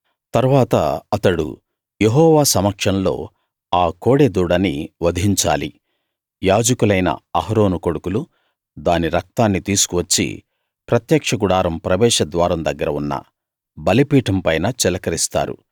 తరువాత అతడు యెహోవా సమక్షంలో ఆ కోడె దూడని వధించాలి యాజకులైన అహరోను కొడుకులు దాని రక్తాన్ని తీసుకు వచ్చి ప్రత్యక్ష గుడారం ప్రవేశద్వారం దగ్గర ఉన్న బలిపీఠం పైన చిలకరిస్తారు